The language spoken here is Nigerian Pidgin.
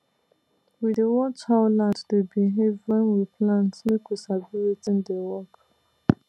we dey watch how land dey behave when we plant make we sabi wetin dey work